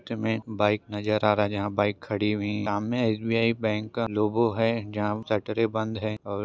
चित्र में बाइक नजर आ रहा है जहाँ बाइक खड़ी हुई नाम में एस.बी.आय. बैंक का लोगो हैं जहाँ सैटरडे बंद हैं और--